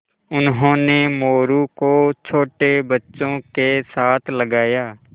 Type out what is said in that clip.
उन्होंने मोरू को छोटे बच्चों के साथ लगाया